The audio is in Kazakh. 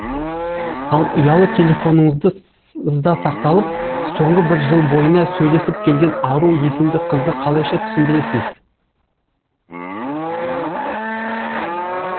ал ұялы телефоныңызда сақталып соңғы бір жыл бойына сөйлесіп келген ару есімді қызды қалайша түсіндіресіз